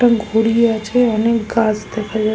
একটা ঘড়ি আছে অনেক গাছ দেখা যা--